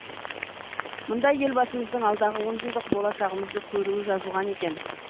мұнда елбасымыздың алдағы онжылдық болашағымызды көруі жазылған екен